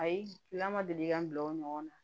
Ayi lama deli ka n bila o ɲɔgɔn na